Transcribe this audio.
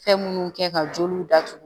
Fɛn munnu kɛ ka jeliw datugu